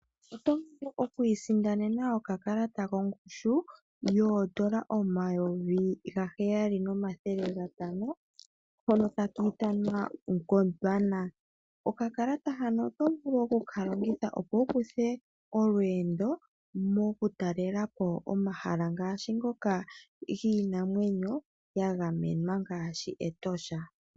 Oto vulu okwiisindanena okakalata kongushu yoondola omayovi gaheyali nomathele gatano hono taka ithanwa Gondwana. Okakalata hano oto vulu oku ka longitha opo wu kuthe olweendo moku talela po omahala ngaashi ngoka giinamwenyo ya gamenwa ngaashi Etosha.